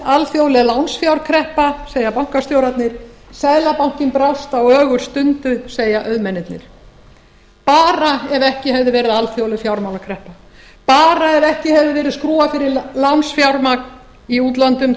alþjóðleg lánsfjárkreppa segja bankastjórarnir seðlabankinn brást á ögurstundu segja auðmennirnir bara ef ekki hefði verið alþjóðleg fjármálakreppa bara ef ekki hefði verið skrúfað fyrir lánsfjármagn í útlöndum